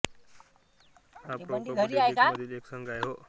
हा pro kabaddi league मधील एक संघ आहे